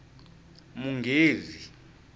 munghezi